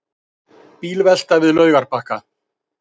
Bílvelta við Laugarbakka